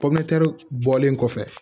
pɔmu bɔlen kɔfɛ